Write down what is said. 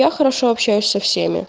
я хорошо общаюсь со всеми